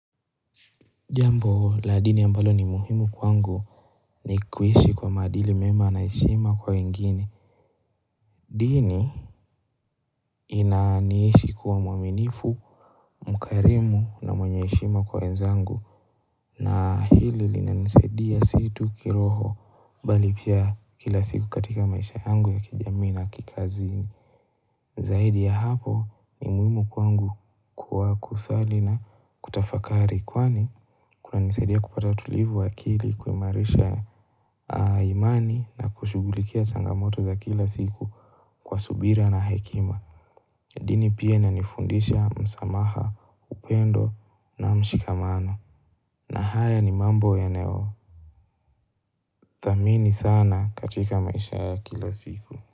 Jambo la dini ambalo ni muhimu kwangu ni kuishi kwa maadili mema na heshima kwa wengine dini inaniishi kuwa mwaminifu mkarimu na mwenye heshima kwa wenzangu na hili linanisaidia si tu kiroho bali pia kila siku katika maisha yangu ya kijamii na kikazi zaidi ya hapo ni muhimu kwangu kwa kusali na kutafakari kwani kunanisaidia kupata utulivu wa akili kuimarisha imani na kushugulikia changamoto za kila siku kwa subira na hekima dini pia inanifundisha msamaha upendo na mshikamano na haya ni mambo yanayothamini sana katika maisha ya kila siku.